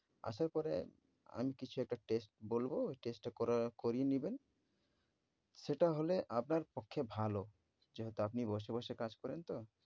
আসার পরে আমি কিছু একটা test বলব ঐ test টা করা~ করিয়ে নিবেন। সেটা হলে আপনার পক্ষে ভালো যেহেতু আপনি বসে বসে কাজ করেন তো।